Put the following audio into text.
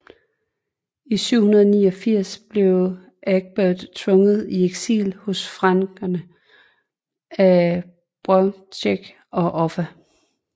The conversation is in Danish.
I 789 blev Egbert tvunget i eksil hos frankerne af Beorhtric og Offa